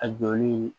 A jɔli